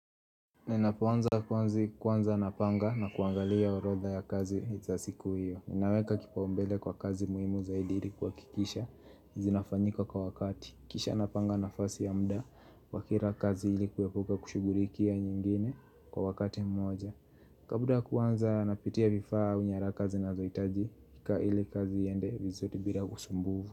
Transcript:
Ninapoanza kazi kwanza napanga na kuangalia orodha ya kazi za siku hiyo Ninaweka kipaumbele kwa kazi muhimu zaidi hili kuhakikisha zinafanyika kwa wakati Kisha napanga nafasi ya muda wa kila kazi ili kuhepuka kushughulikia nyingine kwa wakati mmoja Kabla ya kwanza napitia vifaa ufanya kazi na zinazohitajika hili kazi iende vizuri bila usumbuvu.